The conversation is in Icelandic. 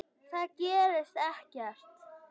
Það gerist ekkert.